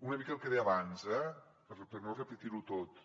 una mica el que deia abans per no repetir ho tot